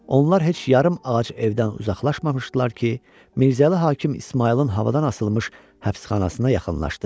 Onlar heç yarım ağac evdən uzaqlaşmamışdılar ki, Mirzəli hakim İsmayılın havadan asılmış həbsxanasına yaxınlaşdı.